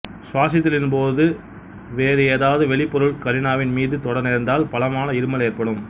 சுவாசித்தலின்பொழுது வேறு எதாவது வெளிபொருள்கள் கரினாவின் மீது தொட நேர்ந்தால் பலமான இருமல் ஏற்படும்